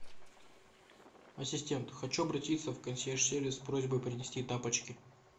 ассистент хочу обратиться в консьерж сервис с просьбой принести тапочки